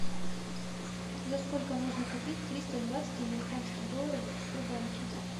за сколько можно купить триста двадцать американских долларов в сбербанке